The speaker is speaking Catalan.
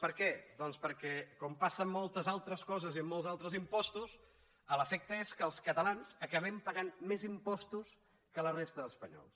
per què doncs perquè com passa en moltes altres coses i en molts altres impostos l’efecte és que els catalans acabem pagant més impostos que la resta d’espanyols